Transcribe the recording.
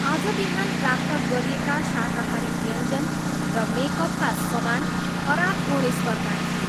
आज बिहान प्राप्त गरिएका शाकाहारी व्यञ्जन र मेकअपका समान खराब गुणस्तरका थिए।